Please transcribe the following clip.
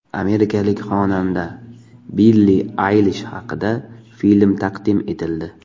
Amerikalik xonanda Billi Aylish haqida film taqdim etildi.